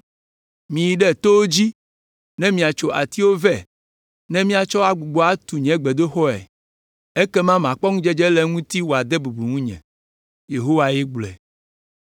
Miyi ɖe towo dzi ne miatso atiwo vɛ ne miatsɔ agbugbɔ atu nye gbedoxɔe. Ekema makpɔ ŋudzedze le eŋuti wòade bubu ŋunye.” Yehowae gblɔe.